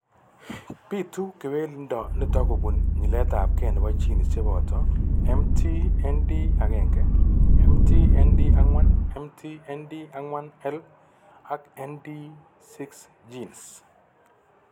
Bitu kewelindo nitok kobun nyiletabge nebo genes cheboto MT ND1, MT ND4, MT ND4L, ak ND6 genes.